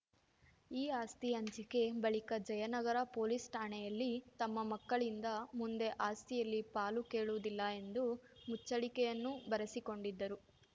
ಈ ಆಸ್ತಿ ಹಂಚಿಕೆ ಬಳಿಕ ಜಯನಗರ ಪೊಲೀಸ್‌ ಠಾಣೆಯಲ್ಲಿ ತಮ್ಮ ಮಕ್ಕಳಿಂದ ಮುಂದೆ ಆಸ್ತಿಯಲ್ಲಿ ಪಾಲು ಕೇಳುವುದಿಲ್ಲ ಎಂದು ಮುಚ್ಚಳಿಕೆಯನ್ನೂ ಬರೆಸಿಕೊಂಡಿದ್ದರು